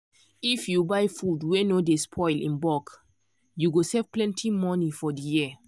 if you buy food wey no dey spoil in bulk you go save plenty money for the year.